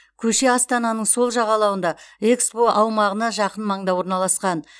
көше астананың сол жағалауында экспо аумағына жақын маңда орналасқан